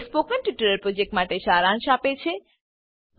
તે spoken tutorial પ્રોજેક્ટનો સારાંશ આપે છે